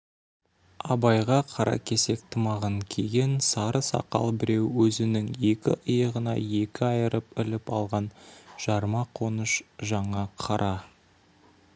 абайға қаракесек тымағын киген сары сақал біреу өзінің екі иығына екі айырып іліп алған жарма қоныш жаңа қара